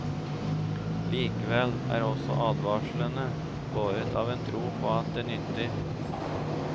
Likevel er også advarslene båret av en tro på at det nytter.